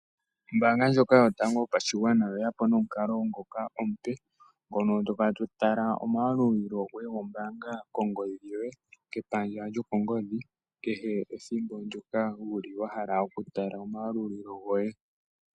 Ombaanga yotango yapashigwana oye yapo nomukalo ngoka omupe, hono tokala totala omayalulilo goye gombaanga kongodhi yoye kehe ethimbo ndjoka wuli wahala oku tala oma yalulilo goye.